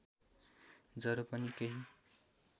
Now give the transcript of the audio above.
जरो पनि केही